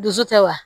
Dusu tɛ wa